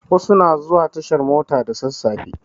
Wasu na zuwa tashar mota da sasafe